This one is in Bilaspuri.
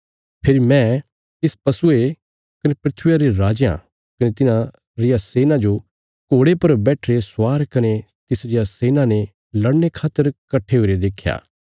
फेरी मैं तिस पशुये कने धरतिया रे राजयां कने तिन्हां रिया सेना जो घोड़े पर बैठिरे स्वार कने तिसरिया सेना ने लड़ने खातर कट्ठे हुईरे देख्या